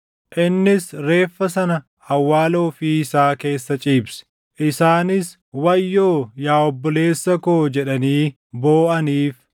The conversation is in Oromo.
Innis reeffa sana awwaala ofii isaa keessa ciibse; isaanis, “Wayyoo, yaa obboleessa koo!” jedhanii booʼaniif.